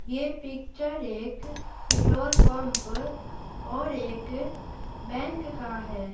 ये पिक्चर एक petrol pump और एक बैक का है।